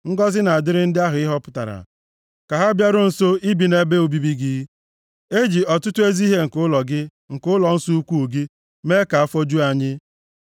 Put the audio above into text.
Ngọzị na-adịrị ndị ahụ ị họpụtara, ka ha bịaruo nso, ibi nʼebe obibi gị! E ji ọtụtụ ezi ihe nke ụlọ gị, nke ụlọnsọ ukwuu gị, mee ka afọ ju anyị.